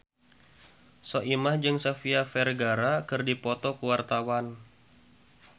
Soimah jeung Sofia Vergara keur dipoto ku wartawan